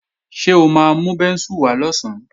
Ṣé o máa mú bẹ́ńsù wá lọ̀sán?